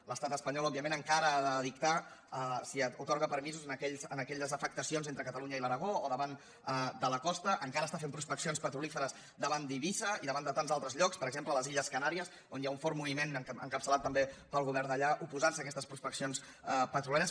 l’estat espanyol òbviament encara ha de dictar si atorga permisos en aquelles afectacions entre catalunya i l’aragó o davant de la costa encara està fent prospeccions petrolieres davant d’eivissa i davant de tants altres llocs per exemple a les illes canàries on hi ha un fort moviment encapçalat també pel govern d’allà que s’oposa a aquestes prospeccions petrolieres